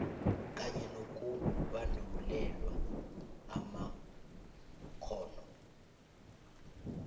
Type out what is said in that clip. kanye nokubandulelwa amakghono